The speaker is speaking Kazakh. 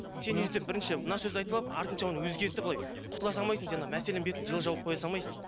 сен өйтіп бірінші мына сөзді айтып алып артынша оны өзгертіп былай құтыла салмайсың сен ана мәселенің бетін жылы жауып қоя салмайсың